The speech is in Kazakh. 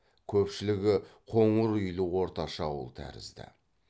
көпшілігі қоңыр үйлі орташа ауыл тәрізді